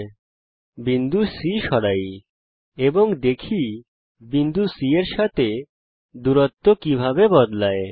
এখন বিন্দু C সরাই এবং দেখি বিন্দু C এর সাথে দূরত্ব কিভাবে বদলায়